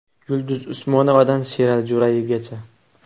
Yulduz Usmonovadan Sherali Jo‘rayevgacha.